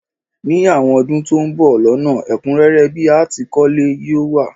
Ní àwon odún to n bo lónà, ẹ̀kúnrẹ́rẹ́ bi a tìí kólé yi o wa